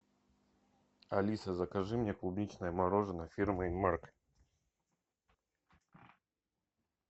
алиса закажи мне клубничное мороженое фирмы инмарко